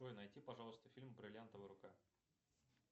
джой найди пожалуйста фильм бриллиантовая рука